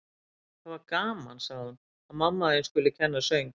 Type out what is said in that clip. Það var gaman, sagði hún: Að mamma þín skuli kenna söng.